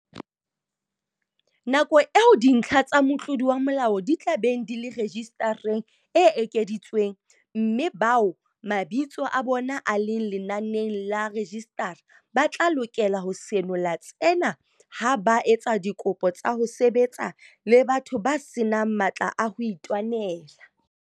Nako eo dintlha tsa motlodi wa molao di tla beng di le rejisitareng e ekeditswe, mme bao mabitso a bona a leng lenaneng la rejisitara ba tla lokela ho senola tsena ha ba etsa dikopo tsa ho sebetsa le batho ba se nang matla a ho itwanela.